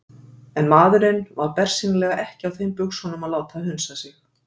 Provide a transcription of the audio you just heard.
En maðurinn var bersýnilega ekki á þeim buxunum að láta hunsa sig.